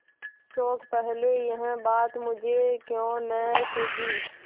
शोक पहले यह बात मुझे क्यों न सूझी